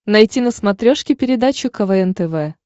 найти на смотрешке передачу квн тв